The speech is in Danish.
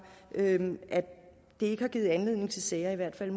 at det ikke har givet anledning til sager hvert fald